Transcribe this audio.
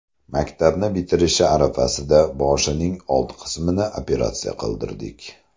Maktabni bitirishi arafasida boshining old qismini operatsiya qildirdik.